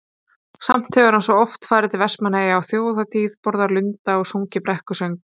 Samt hefur hann svo oft farið til Vestmannaeyja á Þjóðhátíð, borðað lunda og sungið brekkusöng.